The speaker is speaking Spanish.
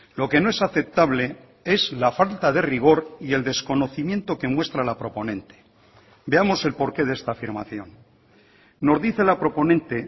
lo que no es aceptable es la falta de rigor y el desconocimiento que muestra la proponente veamos el porqué de esta afirmación nos dice la proponente